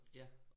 Ja